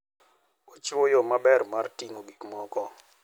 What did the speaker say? Ochiwo yo maber mar ting'o gik moko.